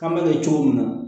K'an bɛ kɛ cogo min na